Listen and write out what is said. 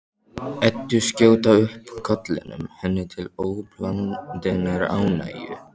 Eddu skjóta upp kollinum, henni til óblandinnar ánægju.